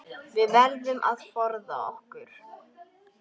Við verðum að forða okkur.